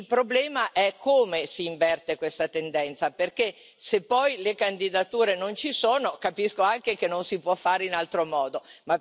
Il problema è come si inverte questa tendenza perché, se le candidature non ci sono, capisco anche che non si possa fare in altro modo.